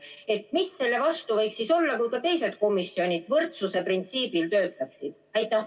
Mis võiks selle vastu olla, kui ka teised komisjonid võrdsuse printsiibil töötaksid?